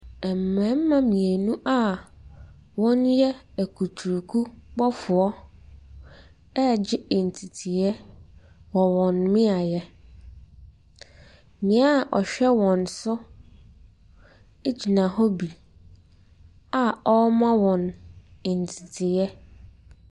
Mmarima mmienu a wɔyɛ akuturukubɔfoɔ regye nteteeɛ wɔ wɔn mmeaeɛ. Nea ɔhwɛ wɔn so gyina hɔ bi a ɔrema wɔn nteteeɛ.